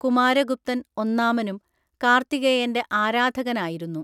കുമാരഗുപ്തൻ ഒന്നാമനും കാർത്തികേയന്റെ ആരാധകനായിരുന്നു.